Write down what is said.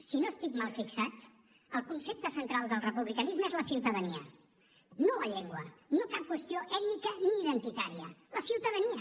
si no estic mal fixat el concepte central del republicanisme és la ciutadania no la llengua no cap qüestió ètnica ni identitària la ciutadania